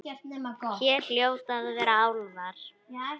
Hér hljóta að vera álfar.